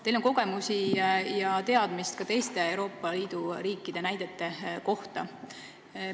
Teil on kogemusi ja teadmisi ka teiste Euroopa Liidu riikide kohta.